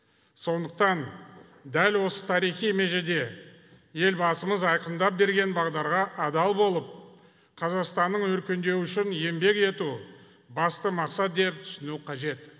сондықтан дәл осы тарихи межеде елбасымыз айқындап берген бағдарға адал болып қазақстанның өркендеуі үшін еңбек ету басты мақсат деп түсіну қажет